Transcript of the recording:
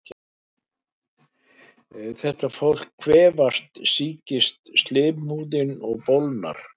Þegar fólk kvefast sýkist slímhúðin og bólgnar.